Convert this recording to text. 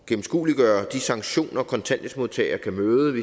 gennemskueliggøre de sanktioner kontanthjælpsmodtagere kan møde